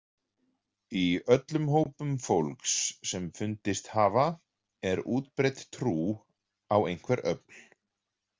Í öllum hópum fólks sem fundist hafa er útbreidd trú á einhver öfl.